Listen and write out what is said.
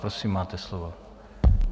Prosím, máte slovo.